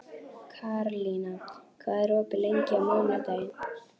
Karlína, hvað er opið lengi á mánudaginn?